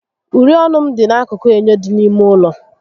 Uri ọnụ m dị n'akụkụ enyo dị n'ime ụlọ